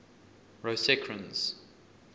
rosecrans